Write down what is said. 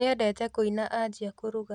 Nĩendete kũina anjia kũruga